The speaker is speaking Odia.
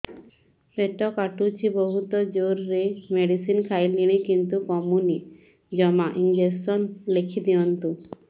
ପେଟ କାଟୁଛି ବହୁତ ଜୋରରେ ମେଡିସିନ ଖାଇଲିଣି କିନ୍ତୁ କମୁନି ଜମା ଇଂଜେକସନ ଲେଖିଦିଅନ୍ତୁ